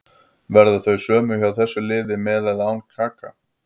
Verða þau sömu hjá þessu liði með eða án Kaka.